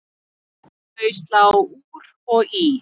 Þau slá úr og í.